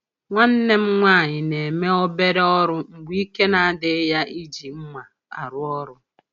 Nwanne m nwanyị na-eme obere ọrụ mgbe ike na-adịghị ya iji mma arụ ọrụ.